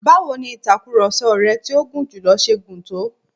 Báwọ ni ìtakurọ̀sọ rẹ tí ó gùn jùlọ ṣe gùn tó?